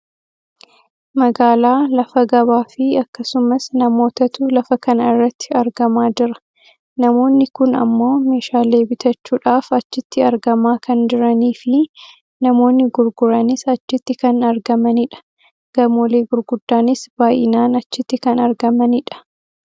Magaalaa lafa gabaafi akkasumas namootatu lafa kana irratti argamaa jira. Namoonni kun ammoo meeshaalee bitachuudhaaf achitti argamaa kan jiraniifi namoonno gurguranis achitti kan argamanidha. Gamoolee gurguddaanis baayinaan achiitti kan argamanidha.